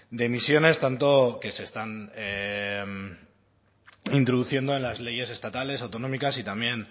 de emisiones tanto que se están introduciendo en las leyes estatales autonómicas y también